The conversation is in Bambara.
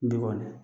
Bi kɔnɔntɔn